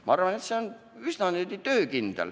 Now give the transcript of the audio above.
Ma arvan, et see süsteem on üsna töökindel.